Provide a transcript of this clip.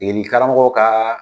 Degeli karamɔgɔ ka